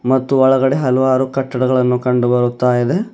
ಮತ್ತು ಒಳಗಡೆ ಹಲವಾರು ಕಟ್ಟಡಗಳನ್ನು ಕಂಡು ಬರುತ್ತಾ ಇದೆ.